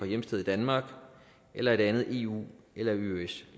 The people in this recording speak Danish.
hjemsted i danmark eller et andet eu